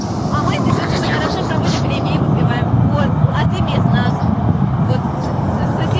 а мы здесь очень хорошо проводим время и выпиваем вот а ты без нас вот с соси